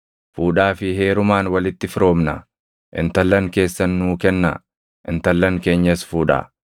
Fuudhaa fi heerumaan walitti firoomnaa; intallan keessan nuu kennaa; intallan keenyas fuudhaa.